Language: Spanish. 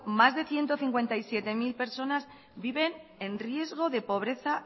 más de ciento cincuenta y siete mil personas viven en riesgo de pobreza